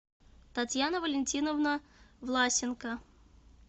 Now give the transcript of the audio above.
татьяна валентиновна власенко